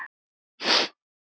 Ég get ekki verið annað.